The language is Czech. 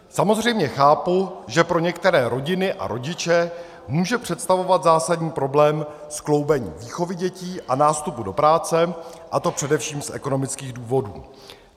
Samozřejmě chápu, že pro některé rodiny a rodiče může představovat zásadní problém skloubení výchovy dětí a nástupu do práce, a to především z ekonomických důvodů.